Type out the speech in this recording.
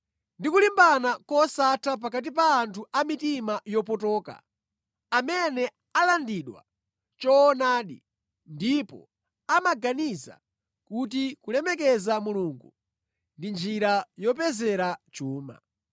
ndi kulimbana kosatha pakati pa anthu amitima yopotoka amene alandidwa choonadi ndipo amaganiza kuti kulemekeza Mulungu ndi njira yopezera chuma.